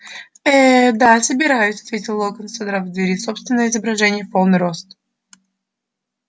э-э-э да собираюсь ответил локонс содрав с двери собственное изображение в полный рост и скатывая его в трубку срочный звонок